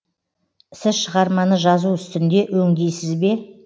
сіз шығарманы жазу үстінде өңдейсіз бе